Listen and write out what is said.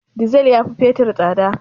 Dizal ya fi fetur tsada